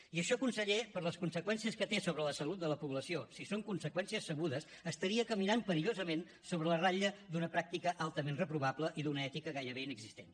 i això conseller per les conseqüències que té sobre la salut de la població si són conseqüències sabudes estaria caminant perillosament sobre la ratlla d’una pràctica altament reprovable i d’una ètica gairebé inexistent